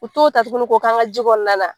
U t'o ta tuguni ko k'an ka ji kɔnɔna na.